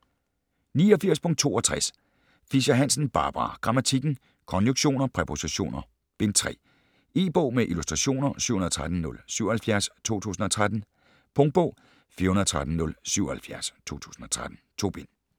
89.62 Fischer-Hansen, Barbara: Grammatikken: Konjunktioner, præpositioner: Bind 3 E-bog med illustrationer 713077 2013. Punktbog 413077 2013. 2 bind.